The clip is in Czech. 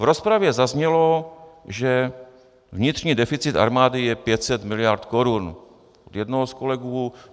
V rozpravě zaznělo, že vnitřní deficit armády je 500 mld. korun, od jednoho z kolegů.